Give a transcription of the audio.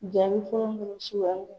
Jaabi fɔlɔ munnu